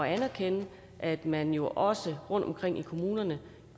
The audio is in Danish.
anerkende at man jo også rundtomkring i kommunerne